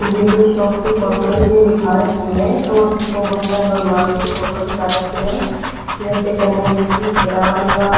यह कोई शोक की फोटो है इसमें दिखा रखी है और उसमे बहोत सारे भगवान जी की फोटो दिखा रखी है जैसे गणेश जी--